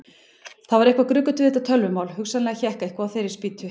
Það var eitthvað gruggugt við þetta tölvumál, hugsanlega hékk eitthvað á þeirri spýtu.